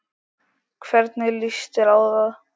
Hvernig lýst þér á það?